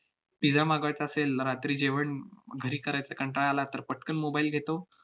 pizza मागवायचा असेल, रात्री जेवण घरी करायचा कंटाळा आला, तर पटकन mobile घेतो,